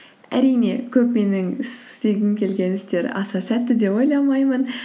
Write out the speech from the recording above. әрине көп менің істегім келген істер аса сәтті деп ойламаймын